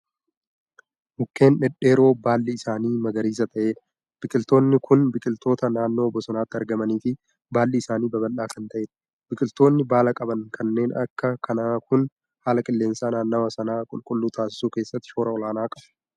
Mukkeen dhedheeroo baalli isaanii magariisa ta'eedha. biqiltoonni Kuni biqiltoota naannoo bosonaatti argamaniifi baalli isaanii babal'aa Kan taa'eedha. biqiltoonni baala qaban kanneen Akka kanaa Kuni haala qilleensa naannawaa sanaa qulqulluu taasisuu keessatti shoora olaanaa qabu.